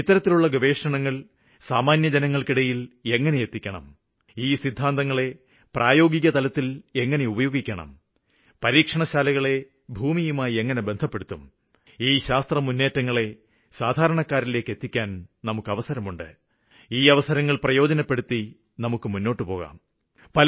ഇത്തരത്തിലുള്ള ഗവേഷണങ്ങള് സാമാന്യജനങ്ങള്ക്കിടയില് എങ്ങനെ എത്തിക്കണം ഈ സിദ്ധാന്തങ്ങളെ പ്രായോഗികതലത്തില് എങ്ങിനെ ഉപയോഗിക്കണം പരീക്ഷണശാലകളെ ഭൂമിയുമായി എങ്ങിനെ ബന്ധപ്പെടുത്തും ഈ ശാസ്ത്രമുന്നേറ്റങ്ങളെ സാധാരണക്കാരിലേക്ക് എത്തിക്കാനുള്ള അവസരങ്ങള് പ്രയോജനപ്പെടുത്തി നമുക്ക് മുന്നോട്ടുപോകാം